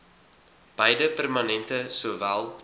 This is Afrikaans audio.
beide permanente sowel